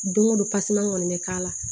Don go don kɔni bɛ k'a la